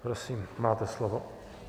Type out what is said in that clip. Prosím, máte slovo.